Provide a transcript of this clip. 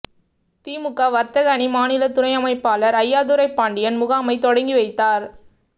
திமுக வா்த்தக அணி மாநில துணை அமைப்பாளா் அய்யாத்துரை பாண்டியன் முகாமை தொடங்கி